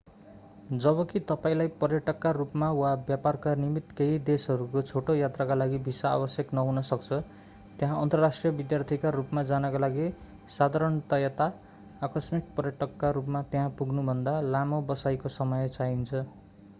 जबकि तपाईंलाई पर्यटकका रूपमा वा व्यापारका निमित्त केही देशहरूको छोटो यात्राका लागि भिसा आवश्यक नहुन सक्छ त्यहाँ अन्तर्राष्ट्रिय विद्यार्थीका रूपमा जानका लागि साधारणतया आकस्मिक पर्यटकका रूपमा त्यहाँ पुग्नुभन्दा लामो बसाइको समय चाहिन्छ